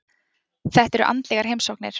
Þetta eru andlegar heimsóknir.